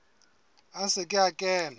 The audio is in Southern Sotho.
a se ke a kena